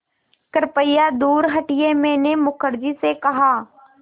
कृपया दूर हटिये मैंने मुखर्जी से कहा